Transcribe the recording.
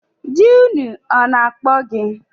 Diinu ọ na-akpọ gị?